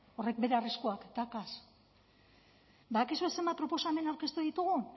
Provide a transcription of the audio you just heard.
horrek bere arriskuak dauka badakizue zenbat proposamen aurkeztu ditugu